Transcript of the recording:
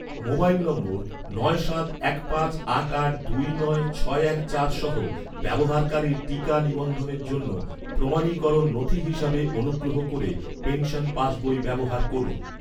mobile number, নয় সাত এক পাঁচ আট আট দুই নয় ছয় এক চার সহ ব্যবহারকারীর টিকা নিবন্ধনের জন্য, প্রমাণীকরণ নথি হিসাবে অনুগ্রহ করে পেনশন পাসবই ব্যবহার করুন